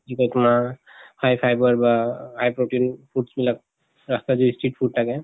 কিবা তোমাৰ high fiber বা high protein foods বিলাক ৰাস্তাত যে street food থাকে